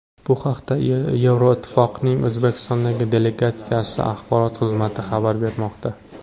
Bu haqda Yevroittifoqning O‘zbekistondagi delegatsiyasi axborot xizmati xabar bermoqda.